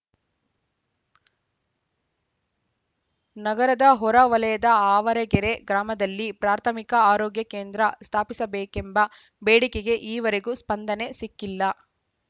ನಗರದ ಹೊರ ವಲಯದ ಆವರಗೆರೆ ಗ್ರಾಮದಲ್ಲಿ ಪ್ರಾಥಮಿಕ ಆರೋಗ್ಯ ಕೇಂದ್ರ ಸ್ಥಾಪಿಸಬೇಕೆಂಬ ಬೇಡಿಕೆಗೆ ಈವರೆಗೂ ಸ್ಪಂದನೆ ಸಿಕ್ಕಿಲ್ಲ